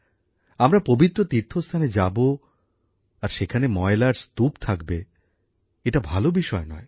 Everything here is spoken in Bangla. আমরা পবিত্র তীর্থস্থানে যাবো আর সেখানে ময়লার স্তূপ থাকবে এটা ভাল বিষয় নয়